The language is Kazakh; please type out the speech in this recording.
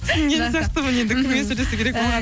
түсінген сияқтымын енді кіммен сөйлесу керек